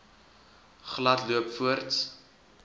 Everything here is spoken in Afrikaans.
glad loop voorts